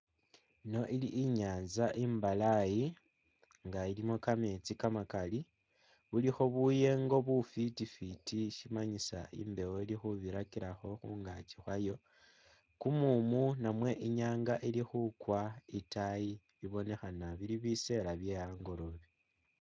Ino ili inyanza imbalayi nga ilimo kameetsi kamakali bulikho buyengo bufiti fiti shimanyisa imbewo ili khubirakilakho khungaki khwayo kumumu namwe inyanga ili khukwa itaayi ibonekhana bili biseela bye hangolobe.